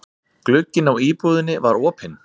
Glugginn á íbúðinni var opinn.